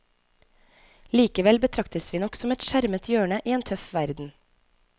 Likevel betraktes vi nok som et skjermet hjørne i en tøff verden.